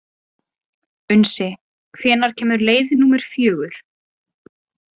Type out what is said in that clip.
Unnsi, hvenær kemur leið númer fjögur?